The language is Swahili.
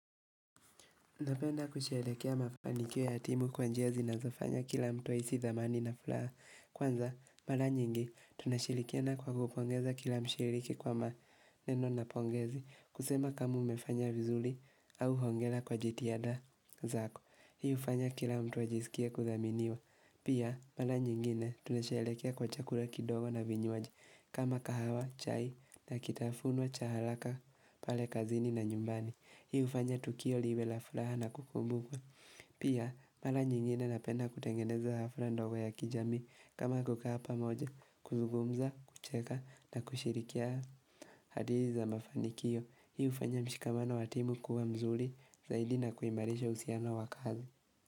Napenda kusherekea mapanikiyo ya timu kwa njia zinazofanya kila mtu aisi thamani na fulaha. Kwanza, mala nyingi, tunashirikiana kwa kupongeza kila mshiriki kwa maneno na pongezi. Kusema kama umefanya vizuli au hongela kwa jitihada zako. Hiu ufanya kila mtu ajisikie kuthaminiwa. Pia, mala nyingine, tunasherekea kwa chakula kidogo na vinywaji. Kama kahawa, chai, na kitafunwa, cha halaka, pale kazini na nyumbani. Hii ufanya tukio liwe la furaha na kukumbukwa Pia, mala nyingine napenda kutengeneza hafra ndogo ya kijamii kama kukaa pamoja, kuzugumza, kucheka na kushirikiana hadithi za mafanikio, hii ufanya mshikamano wa timu kuwa mzuli Zaidi na kuimalisha usiano wa kazi.